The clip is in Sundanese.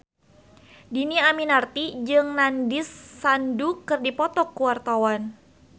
Dhini Aminarti jeung Nandish Sandhu keur dipoto ku wartawan